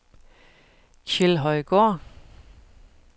Kjeldhøjgård